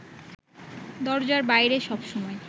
দরজার বাইরে সবসময়